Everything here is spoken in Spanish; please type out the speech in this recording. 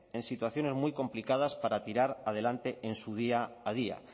en situaciones muy complicadas para tirar adelante en su día a día